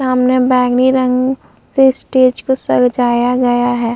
सामने बैंगनी रंग से स्टेज को सजाया गया है।